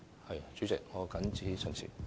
代理主席，我謹此陳辭。